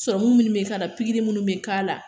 munnu be k'a la, pikiri munnu be k'a la.